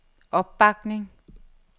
opbakning